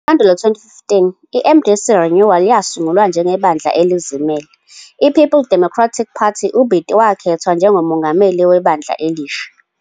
NgoMpandula 2015, iMDC-Renewal yasungulwa njengebandla elizimele, iPeople's Democratic Party, uBiti wakhethwa njengomongameli webandla elisha.